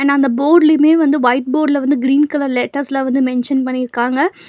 ந அந்த போட்லையுமே வந்து ஒயிட் போட்ல வந்து கிரீன் கலர் லெட்டர்ஸ்ல வந்து மென்ஷன் பண்ணிருக்காங்க.